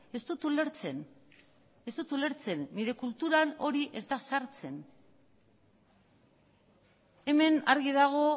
ez dut ulertzen ez dut ulertzen nire kulturan hori ez da sartzen hemen argi dago